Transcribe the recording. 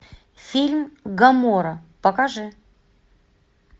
фильм гоморра покажи